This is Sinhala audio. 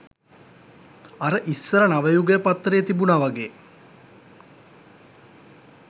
අර ඉස්සර නවයුගය පත්තරේ තිබුණා වගේ